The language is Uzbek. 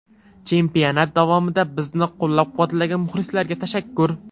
Chempionat davomida bizni qo‘llab-quvvatlagan muxlislarga tashakkur.